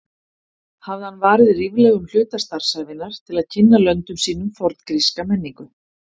Hafði hann varið ríflegum hluta starfsævinnar til að kynna löndum sínum forngríska menningu.